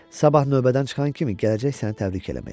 Sabah növbədən çıxan kimi gələcək səni təbrik eləməyə.